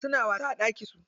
Suna wasa a ɗakin su.